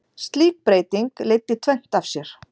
Slík breyting leiddi tvennt af sér.